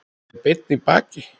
Er beinn í baki.